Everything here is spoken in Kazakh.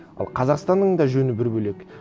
ал қазақстанның да жөні бір бөлек